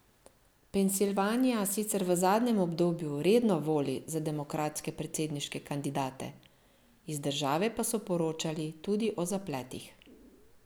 Pensilvanija sicer v zadnjem obdobju redno voli za demokratske predsedniške kandidate, iz države pa so poročali tudi o zapletih.